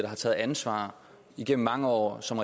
har taget ansvar igennem mange år som